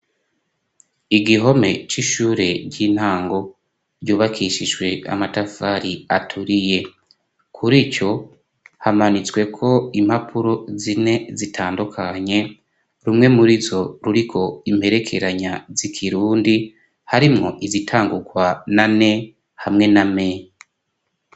Igihome c'ishure ry'intango ryubakishijwe amatafari aturiye kurico hamanitsweko impapuro zine zitandukanye rumwe muri zo ruriko imperekeranya z'ikirundi harimwo izitangukwa na N hamwe na M.